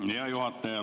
Hea juhataja!